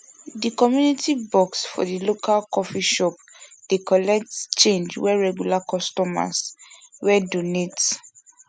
di community box for di local coffee shop dey collects change wey regular customers wey donate